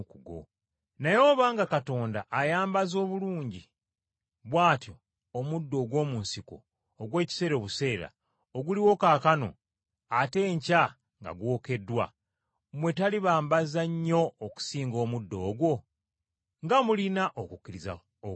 Naye obanga Katonda ayambaza obulungi bw’atyo omuddo ogw’omu nsiko ogw’ekiseera obuseera, ogubaawo leero ate enkeera ne gwokebwa mu kyoto, talisingawo nnyo okubambaza? Nga mulina okukkiriza okutono!